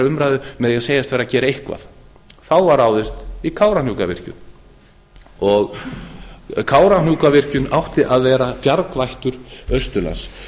umræðu með því að segjast vera að gera eitthvað þá var ráðist í kárahnjúkavirkjun kárahnjúkavirkjun átti að vera bjargvættur austurlands